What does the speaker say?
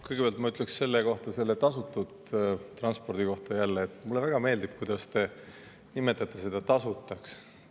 Kõigepealt ma ütleks selle tasutud transpordi kohta, et mulle väga meeldib, kuidas te nimetate seda tasuta transpordiks.